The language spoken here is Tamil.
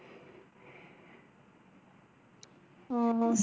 ஓ!